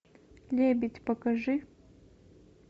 лебедь покажи